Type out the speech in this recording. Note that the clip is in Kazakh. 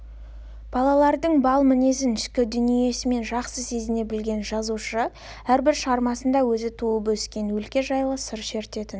балалардың бал мінезін ішкі дүниесімен жақсы сезіне білген жазушы әрбір шығармасында өзі туып өскен өлке жайлы сыр шертетін